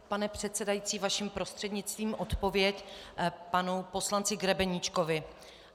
Pane předsedající, vaším prostřednictvím odpověď panu poslanci Grebeníčkovi.